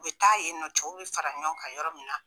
U bi taa yen nɔn cɛw bi fara ɲɔgɔn kan yɔrɔ min na